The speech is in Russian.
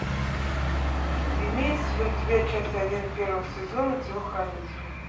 имеется ли у тебя часть один первого сезона телохранитель